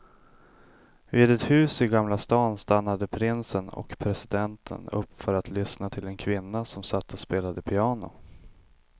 Vid ett hus i gamla stan stannade prinsen och presidenten upp för att lyssna till en kvinna som satt och spelade piano.